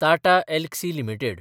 Tata Elxsi limited